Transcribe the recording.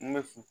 N bɛ fin